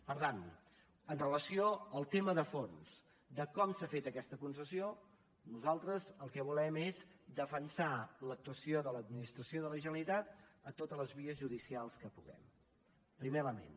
per tant amb relació al tema de fons de com s’ha fet aquesta concessió nosaltres el que volem és defensar l’actuació de l’administració de la generalitat a totes les vies judicials que puguem primer element